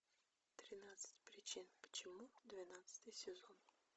тринадцать причин почему двенадцатый сезон